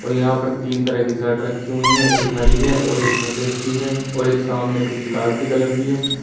यहां पर तीन तरह की शर्ट रखी हुई है एक हरी है और एक सफेद सी है और एक सामने कुछ लाल से कलर की है।